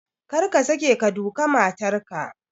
Kar ka sake ka duka matar ka!